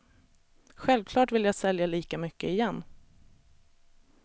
Självklart vill jag sälja lika mycket igen.